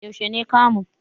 Yaushe ne kamun?